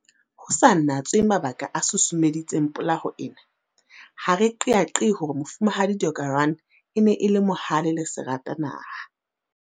Ho sa natswe mabaka a susumeditseng polao ena, ha re qeaqee hore Mofumahadi Deokaran e ne e le mohale le seratanaha.